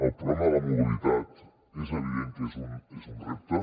el problema de la mobilitat és evident que és un repte